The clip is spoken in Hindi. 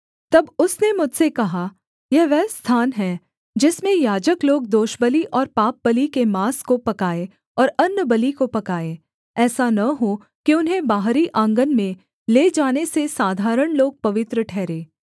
तब उसने मुझसे कहा यह वह स्थान है जिसमें याजक लोग दोषबलि और पापबलि के माँस को पकाएँ और अन्नबलि को पकाएँ ऐसा न हो कि उन्हें बाहरी आँगन में ले जाने से साधारण लोग पवित्र ठहरें